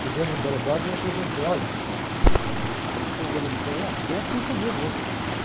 Cheguei no delegado, me apresentei, olha, uh, eu sou um dominicano, já dei a ficha minha mesmo, né?